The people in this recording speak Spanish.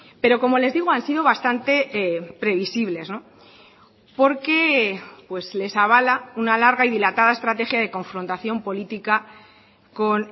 pero como les digo han sido bastante previsibles porque les avala una larga y dilatada estrategia de confrontación política con